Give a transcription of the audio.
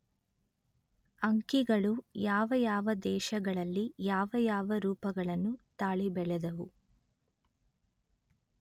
ಅಂಕಿಗಳು ಯಾವ ಯಾವ ದೇಶಗಳಲ್ಲಿ ಯಾವ ಯಾವ ರೂಪಗಳನ್ನು ತಾಳಿ ಬೆಳೆದವು